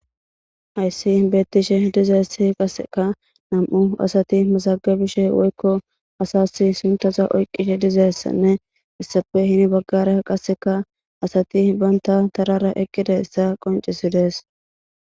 hayssi beettishe dizeessi qasseka nam7u asati masagabishe woykko asas suntaza oyqishe dizeessanne issape hini baggare qasseka asati banta tarara eqqida essa qoncisidees